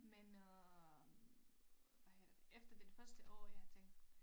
Men øh hvad hedder det efter den første år jeg har tænkt